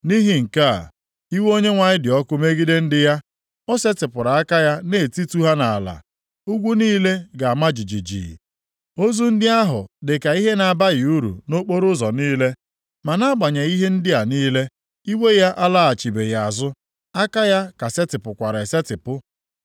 Nʼihi nke a, iwe Onyenwe anyị dị ọkụ megide ndị ya; o setịpụrụ aka ya na-etitu ha nʼala. Ugwu niile ga-ama jijiji, ozu ndị ahụ dịka ihe na-abaghị uru nʼokporoụzọ niile. Ma nʼagbanyeghị ihe ndị a niile, iwe ya alaghachibeghị azụ, aka ya ka setịpụkwara esetipụ.